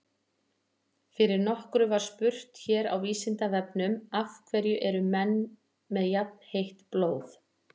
Fyrir nokkru var spurt hér á Vísindavefnum Af hverju eru menn með jafnheitt blóð?